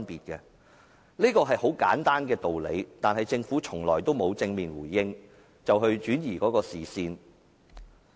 這是很簡單的道理，但政府從來沒有正面回應，反而轉移視線。